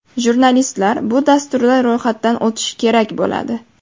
Jurnalistlar bu dasturda ro‘yxatdan o‘tishi kerak bo‘ladi.